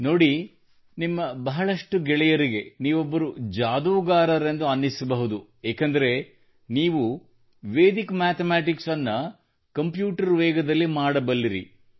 ನೋಡಿ ನಿಮ್ಮ ಬಹಳಷ್ಟು ಗೆಳೆಯರಿಗೆ ನೀವೊಬ್ಬರು ಜಾದೂಗಾರರೆಂದು ಅನ್ನಿಸಬಹುದು ಏಕೆಂದರೆ ನೀವು ವೇದಿಕ್ ಮ್ಯಾಥಮ್ಯಾಟಿಕ್ಸ್ ಅನ್ನು ಕಂಪ್ಯೂಟರ್ ವೇಗದಲ್ಲಿ ಮಾಡಬಲ್ಲಿರಿ